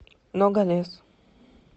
ногалес